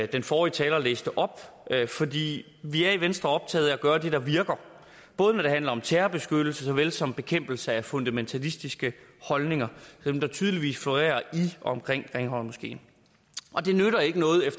den forrige taler læste op fordi vi i venstre er optaget af at gøre det der virker når det handler om terrorbeskyttelse såvel som bekæmpelse af fundamentalistiske holdninger dem der tydeligvis florerer i og omkring grimhøjmoskeen